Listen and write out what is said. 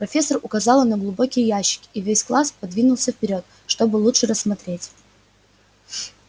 профессор указала на глубокие ящики и весь класс подвинулся вперёд чтобы лучше рассмотреть